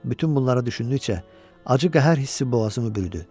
Bütün bunlara düşündükcə acı qəhər hissi boğazımı bürüdü.